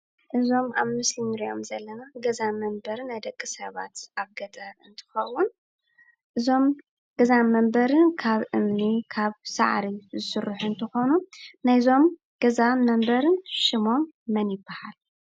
እዞም ኣብ ምስሊ እንሪኦም ዘለና ገዛን መንበሪን ናይ ደቂሰባት ኣብ ገጠር እንትትከውን እዞም ገዛ መንበሪ ካብእምኒን ሳዕሪን ዝስርሑ እንትኮኑ ናይዞም ገዛን መንበሪን ሽሞም መን ይባሃል?